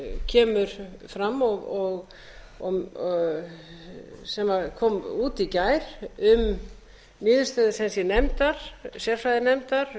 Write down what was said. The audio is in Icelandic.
kemur fram sem kom út í gær um niðurstöður nefndar sérfræðinefndar